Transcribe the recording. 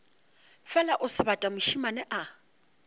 fela o sebata mošemane a